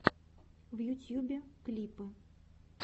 в ютьюбе клипы